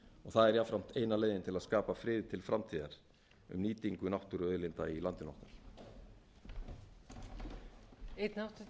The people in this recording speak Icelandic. það er jafnframt eina leiðin til að skapa frið til framtíðar um nýtingu náttúruauðlinda í landinu okkar